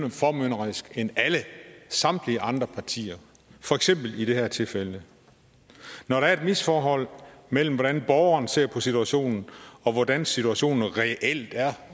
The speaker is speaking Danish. formynderiske end samtlige andre partier for eksempel i det her tilfælde når der er et misforhold mellem hvordan borgeren ser på situationen og hvordan situationen reelt er